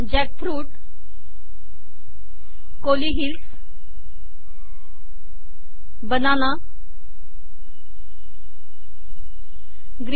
jackfruit Kolli Hills banana green